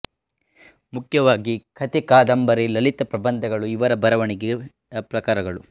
ಮುಖ್ಯವಾಗಿ ಕತೆ ಕಾದಂಬರಿ ಲಲಿತ ಪ್ರಬಂಧಗಳು ಇವರ ಬರವಣಿಗೆಯ ಪ್ರಕಾರಗಳು